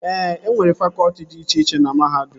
E nwere fakọtị dị iche iche na mahadum